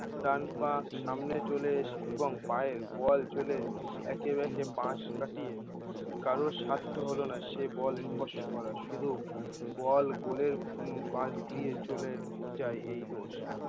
ডান পা সামনে চলে এসে এবং পায়ের বল চলে এঁকেবেঁকে পাশ কাটিয়ে কারো সাধ্য হলো না সে বল স্পর্শ করার শুধু বল গোলের উম পাশ দিয়ে চলে যায় এই দোষ